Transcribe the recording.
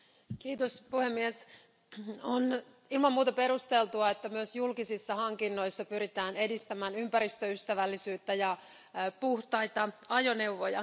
Arvoisa puhemies, on ilman muuta perusteltua, että myös julkisissa hankinnoissa pyritään edistämään ympäristöystävällisyyttä ja puhtaita ajoneuvoja.